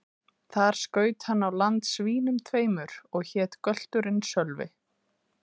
Þar skaut hann á land svínum tveimur, og hét gölturinn Sölvi.